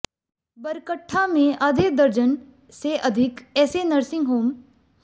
बरकट्ठा में आधे दर्जन से अधिक ऐसे नर्सिंग होम